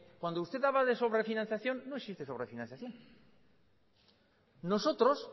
cuando usted habla de sobrefinanciación no existe sobrefinanciación nosotros